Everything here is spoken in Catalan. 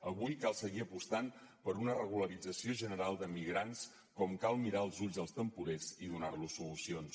avui cal seguir apostant per una regularització general de migrants com cal mirar als ulls dels temporers i donar los solucions